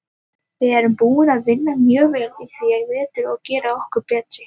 Við erum búnir að vinna mjög vel í því í vetur að gera okkur betri.